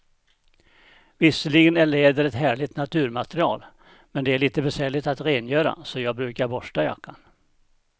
Visserligen är läder ett härligt naturmaterial, men det är lite besvärligt att rengöra, så jag brukar borsta jackan.